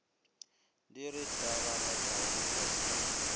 di re tlaralatšago ra se